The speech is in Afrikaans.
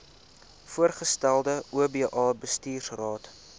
voorgestelde oba bestuursraad